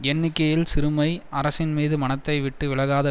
எண்ணிக்கையில் சிறுமை அரசின் மீது மனத்தை விட்டு விலகாத